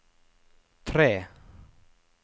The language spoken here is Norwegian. tre